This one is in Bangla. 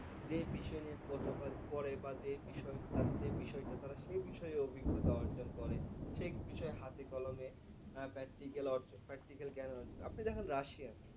যে বিষয় নিয়ে পরে বা যে বিষয় বা তাদের যে বিষয়টা তারা সে বিষয়ে অভিজ্ঞতা অর্জন করে। সে বিষয় হাতে কলমে practical অর্জন practical জ্ঞান অর্জন। আপনি দেখেন রাশিয়া